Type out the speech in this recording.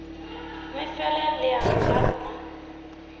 mme fela leano la rona